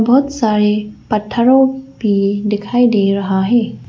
बहोत सारे पत्थरों पे दिखाई दे रहा है।